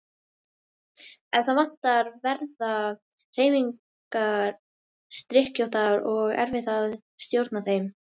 Ef það vantar verða hreyfingar skrykkjóttar og erfitt að stjórna þeim.